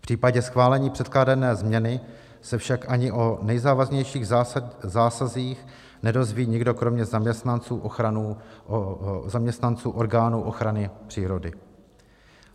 V případě schválení předkládané změny se však ani o nejzávažnějších zásazích nedozví nikdo kromě zaměstnanců orgánů ochrany přírody.